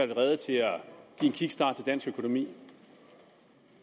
rede til at give en kickstart dansk økonomi